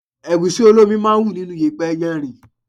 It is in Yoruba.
Ẹ̀gúsí olómi máa ń wù nínú yèpẹ̀ yarìn.